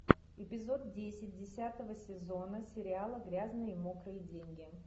эпизод десять десятого сезона сериала грязные мокрые деньги